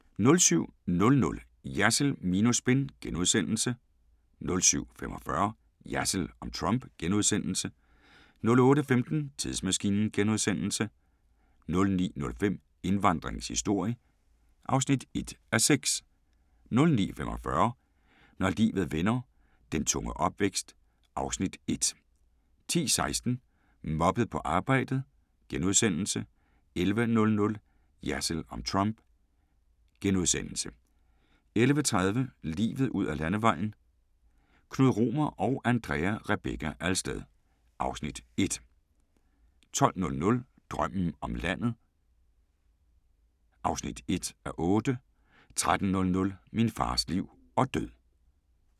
07:00: Jersild minus spin * 07:45: Jersild om Trump * 08:15: Tidsmaskinen * 09:05: Indvandringens historie (1:6) 09:45: Når livet vender - den tunge opvækst (Afs. 1) 10:16: Mobbet på arbejdet * 11:00: Jersild om Trump * 11:30: Livet ud ad landevejen: Knud Romer og Andrea Rebekka Alsted (Afs. 1) 12:00: Drømmen om landet (1:8) 13:00: Min fars liv og død